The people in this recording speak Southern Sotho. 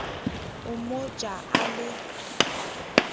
o mo ja a le